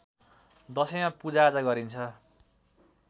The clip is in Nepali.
दशैँमा पूजाआजा गरिन्छ